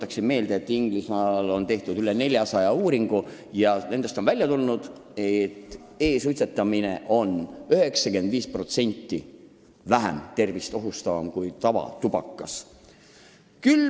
Tuletan meelde, et Inglismaal on tehtud üle 400 uurimistöö ja nendest on välja tulnud, et e-suitsetamine ohustab tervist 95% vähem kui tavatubakas.